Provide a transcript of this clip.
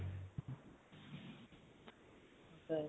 হয়